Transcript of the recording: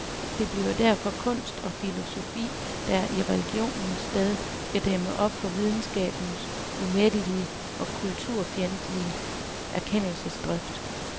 Det bliver derfor kunst og filosofi, der i religionens sted skal dæmme op for videnskabens umættelige og kulturfjendtlige erkendelsesdrift.